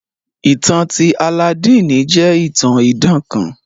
Ìtan ti Alladini jẹ itàn idàn kàn.